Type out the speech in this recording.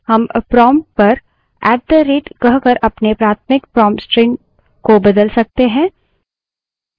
हम prompt पर at the rate <@> कहकर अपने प्राथमिक prompt string को बदल सकते हैं